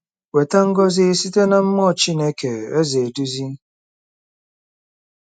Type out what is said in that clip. Weta ngọzi Site na Mmụọ Chineke - Eze eduzi!